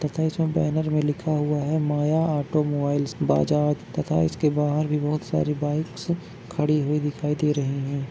तथा इसमें बैनर मे लिखा हुआ है माया ऑटोमोबाइल्स बजाज तथा इसके बाहर भी बहोत सारी बाइकस खड़ी हुई दिखाई दे रही है।